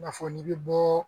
I n'a fɔ n'i bɛ bɔ